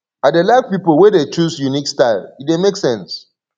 i dey like pipo wey dey choose unique style e dey make sense